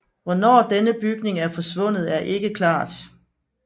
Hvornår denne bygning er forsvundet er ikke klart